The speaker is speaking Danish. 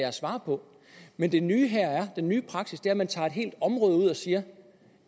at svare på men det nye her er den nye praksis er at man tager et helt område ud og siger at